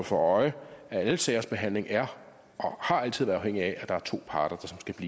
for øje at al sagsbehandling er og har altid været afhængig af at der er to parter